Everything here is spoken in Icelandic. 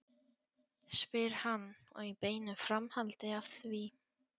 spyr hann og í beinu framhaldi af því